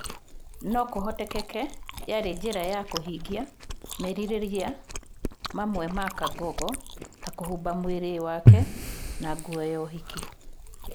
No kũhotekeke yarĩ njĩra ya kũhingia merirĩria amwe ma Kangogo ta kũhumba mwĩrĩ wake na nguo ya ũhiki.